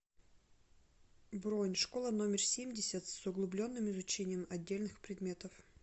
бронь школа номер семьдесят с углубленным изучением отдельных предметов